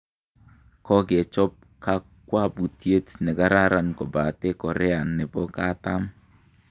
kokechob kaakwapuutyet ne kararan kobate Korea nebo kaatarm